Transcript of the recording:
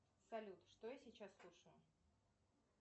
салют что я сейчас слушаю